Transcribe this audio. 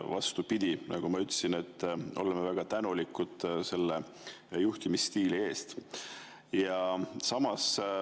Vastupidi, nagu ma ütlesin, me oleme väga tänulikud sellise juhtimisstiili eest.